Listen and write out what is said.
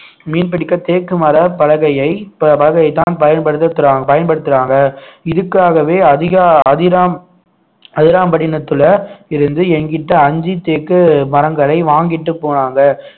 மீன் பிடிக்க தேக்கு மாறாக பலகையை ப~ பலகையை தான் பயன்படுத்துறாங்க இதுக்காகவே அதிக அதிராம் அதிராம்பட்டினத்திலே இருந்து எங்கிட்ட அஞ்சு தேக்கு மரங்களை வாங்கிட்டு போனாங்க